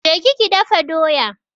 Ki je ki dafa doya!